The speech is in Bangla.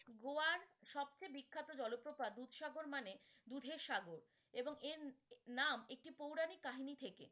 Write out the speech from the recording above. গোয়ার সব চেয়ে বিখ্যাত জলপ্রপাত দুধসাগর মানে দুধের সাগর। এবং এর নাম একটি পৌরাণিক কাহিনী থেকে।